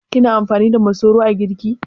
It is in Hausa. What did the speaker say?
Kina amfani da masoro a girki?